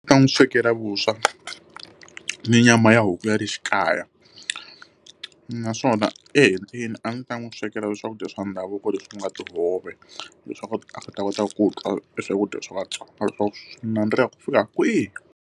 Ta n'wi swekela vuswa ni nyama ya huku ya le xi kaya. Naswona ehenhleni a ni ta n'wi swekela swakudya swa ndhavuko leswi u nga tihove, leswaku a ta kota ku twa swakudya swa vatsonga leswaku swi nandziha ku fika kwihi.